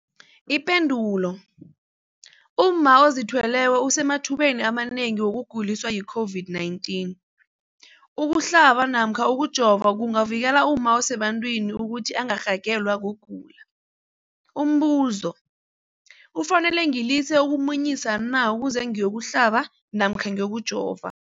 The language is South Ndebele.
Ipendulo, umma ozithweleko usemathubeni amanengi wokuguliswa yi-COVID-19. Ukuhlaba namkha ukujova kungavikela umma osebantwini ukuthi angarhagalelwa kugula. Umbuzo, kufuze ngilise ukumunyisa na ukuze ngiyokuhlaba namkha ngiyokujova?